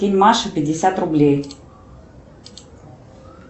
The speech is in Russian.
кинь маше пятьдесят рублей